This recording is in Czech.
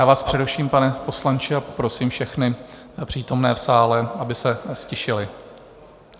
Já vás přeruším, pane poslanče, a poprosím všechny přítomné v sále, aby se ztišili.